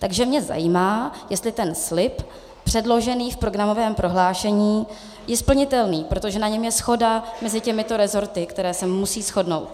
Takže mě zajímá, jestli ten slib předložený v programovém prohlášení je splnitelný, protože na něm je shoda mezi těmito rezorty, které se musí shodnout.